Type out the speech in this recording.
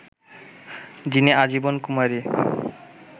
যিনি আজীবন কুমারী